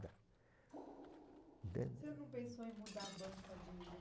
entende? O senhor não pensou em mudar a banca de